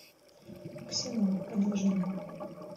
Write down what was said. ксенон продолжение